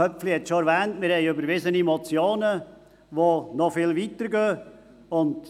Köpfli hat bereits erwähnt, dass Motionen überwiesen wurden, die noch viel weiter gehen.